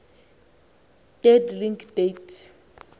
dead link date